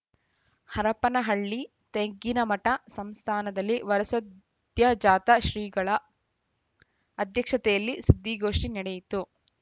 ಹರಪನಹಳ್ಳಿ ತೆಗ್ಗಿನಮಠ ಸಂಸ್ಥಾನದಲ್ಲಿ ವರಸದ್ಯೋಜಾತ ಶ್ರೀಗಳ ಅಧ್ಯಕ್ಷತೆಯಲ್ಲಿ ಸುದ್ದಿಗೋಷ್ಠಿ ನಡೆಯಿತು